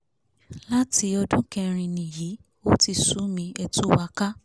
láti ọdún kẹrin nìyí ò ti sú mi ẹ̀ tù wá ká